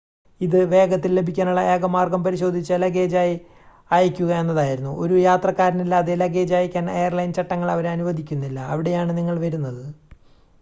ഇത് വേഗത്തിൽ ലഭിക്കാനുള്ള ഏക മാർഗം പരിശോധിച്ച ലഗേജായി അയയ്ക്കുക എന്നതായിരുന്നു ഒരു യാത്രക്കാരനില്ലാതെ ലഗേജ് അയയ്ക്കാൻ എയർലൈൻ ചട്ടങ്ങൾ അവരെ അനുവദിക്കുന്നില്ല അവിടെയാണ് നിങ്ങൾ വരുന്നത്